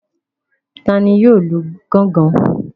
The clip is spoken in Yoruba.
Tani yóò lu gángan?